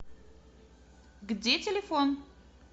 где телефон